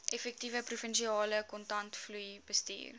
effektiewe provinsiale kontantvloeibestuur